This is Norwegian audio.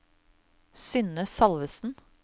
Synne Salvesen